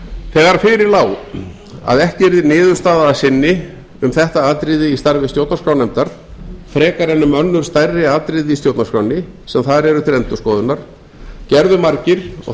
þegar fyrir lá að ekki yrði niðurstaða að sinni um þetta atriði í starfi stjórnarskrárnefndar frekar en um önnur stærri atriði í stjórnarskránni sem þar eru til endurskoðunar gerðu margir og þar á